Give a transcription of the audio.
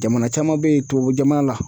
Jamana caman be yen tubabu jamana la